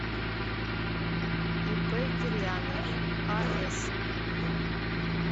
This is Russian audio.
ип кирьянов ас